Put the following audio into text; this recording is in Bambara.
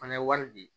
Fana ye wari di